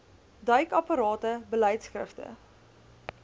duik aparte beleidskrifte